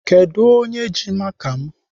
Kedụ onye ji maka m?